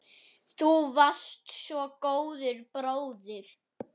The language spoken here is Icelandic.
Þú varst svo góður bróðir.